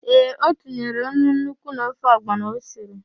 Ee, o tinyere nnu nnukwu n'ofe ọgbọnọ o siri.